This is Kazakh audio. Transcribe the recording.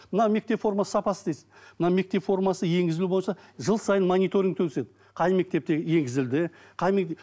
мына мектеп формасы сапасы дейсіз мына мектеп формасы енгізілуі бойынша жыл сайын мониторниг өткізеді қай мектепте енгізілді қай